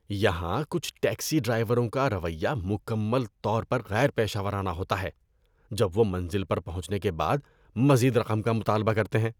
یہاں کچھ ٹیکسی ڈرائیوروں کا رویہ مکمل طور پر غیر پیشہ ورانہ ہوتا ہے جب وہ منزل پر پہنچنے کے بعد مزید رقم کا مطالبہ کرتے ہیں۔